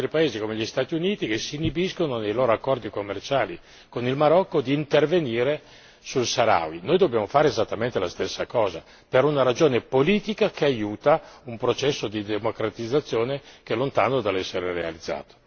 Ci sono altri paesi, come gli Stati Uniti, che si inibiscono nei loro accordi commerciali con il Marocco di intervenire sui saharawi, noi dobbiamo fare esattamente la stessa cosa, per una ragione politica che aiuta un processo di democratizzazione che è lontano dall'essere realizzato.